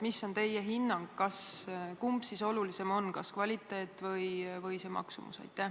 Mis on teie hinnang, kumb on olulisem, kas kvaliteet või maksumus?